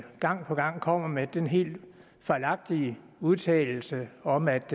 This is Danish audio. gang på gang kommer med den helt fejlagtige udtalelse om at